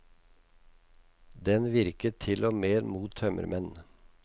Den virket til og med mot tømmermenn.